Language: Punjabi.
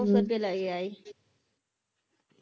ਕੁੜਤੇ ਲਈ ਆਈ